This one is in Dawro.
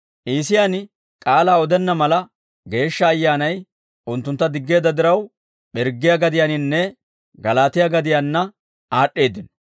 Iisiyaan k'aalaa odenna mala, Geeshsha Ayyaanay unttuntta diggeedda diraw, Pirggiyaa gadiyaannanne Galaatiyaa gadiyaanna aad'd'eeddino.